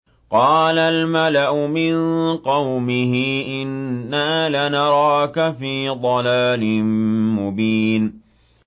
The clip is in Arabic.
قَالَ الْمَلَأُ مِن قَوْمِهِ إِنَّا لَنَرَاكَ فِي ضَلَالٍ مُّبِينٍ